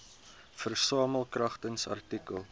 versamel kragtens artikel